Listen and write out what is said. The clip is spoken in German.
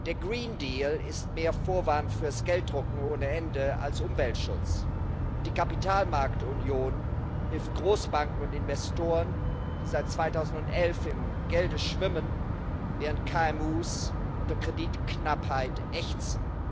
Der ist mehr Vorwand fürs Gelddrucken ohne Ende als Umweltschutz, und die Kapitalmarktunion hilft Großbanken und Investoren, die seit 2011 im Gelde schwimmen, während KMU unter Kreditknappheit ächzen.